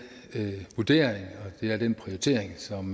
vurdering og det er den prioritering som